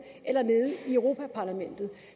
eller nede i europa parlamentet